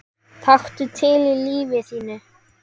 Taktu til í lífi þínu!